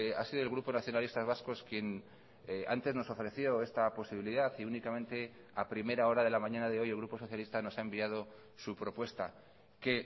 ha sido el grupo nacionalistas vascos quien antes nos ofreció esta posibilidad y únicamente a primera hora de la mañana de hoy el grupo socialista nos ha enviado su propuesta que